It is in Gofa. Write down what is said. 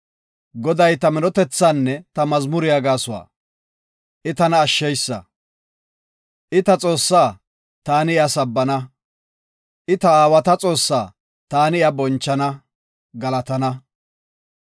Goday ta minotethaanne ta mazmuriya gasuwa, I tana ashsheysa. I ta Xoossaa; taani iya sabbana. I ta aawata Xoossaa; taani iya bonchana; galatana.